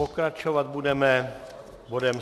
Pokračovat budeme bodem